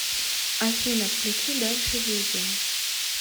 афина включи дальше видео